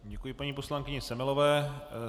Děkuji paní poslankyni Semelové.